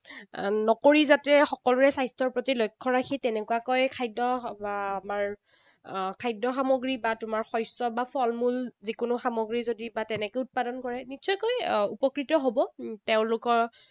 নকৰি যাতে সকলোৰে স্বাস্থ্যৰ প্ৰতি লক্ষ্য ৰাখি, তেনেকুৱাকৈ খাদ্য আমাৰ খাদ্য সামগ্ৰী বা তোমাৰ শস্য বা ফলমূল যিকোনো সামগ্ৰী যদি বা তেনেকে উৎপাদন কৰে, নিশ্চয়কৈ উপকৃত হব। তেওঁলোকৰ